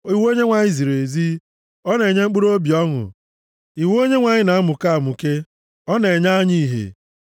Iwu Onyenwe anyị ziri ezi, ọ na-enye mkpụrụobi ọṅụ. Iwu Onyenwe anyị na-amụke amụke, ọ na-enye anya ìhè.